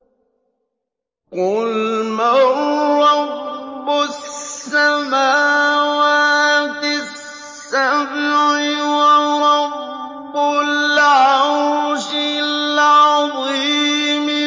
قُلْ مَن رَّبُّ السَّمَاوَاتِ السَّبْعِ وَرَبُّ الْعَرْشِ الْعَظِيمِ